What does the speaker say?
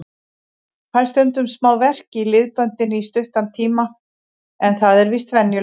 Fæ stundum smá verk í liðböndin í stuttan tíma en það er víst venjulegt.